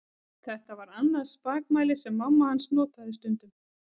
Þetta var annað spakmæli sem mamma hans notaði stundum.